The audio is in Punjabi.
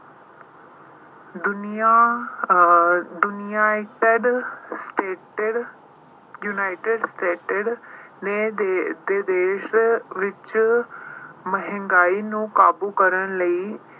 ਦੁਨੀਆਂ ਅਹ ਦੁਨੀਆਂ United States ਨੇ ਦੇਸ਼ ਅਹ ਦੇ ਦੇਸ਼ ਵਿੱਚ ਮਹਿੰਗਾਈ ਨੂੰ ਕਾਬੂ ਕਰਨ ਲਈ